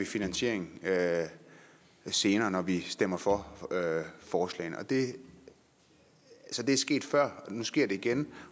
finansieringen senere når vi stemme for forslagene det er sket før nu sker det igen